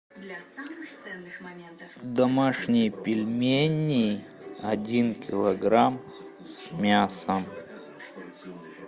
домашние пельмени один килограмм с мясом